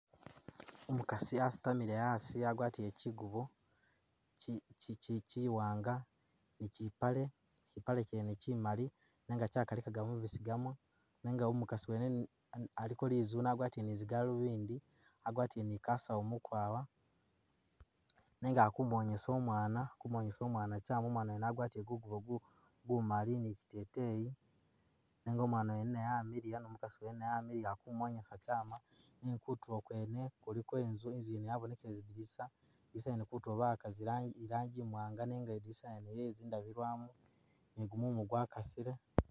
Omukasi asitamile asi agwatile kyigubo kyiwanga ni kyipale kyipale kyene kyimali nenga lykalikaga mumasisigamo nenga umukasi wene aliko lizune agwatile ni zigalubindi agwatile ni kasawu mukwaya nenga akumonyesa umwana kyama umwana wene agwatile gugubo gumali ni kyiteteyi nenga umwana wene amiliya ni umukasi wene amiliya akumonyesa kyama benga kutulo kwene kuliko inzu inzu yene yabonekele zidinisa bawaka irangi iwanga nenga lidinisa lyene lyezindabiramu nigumumu gwakasile.